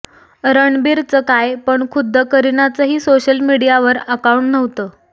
रणबीरच काय पण खुद्द करिनाचंही सोशल मीडियावर अकाऊंट नव्हतं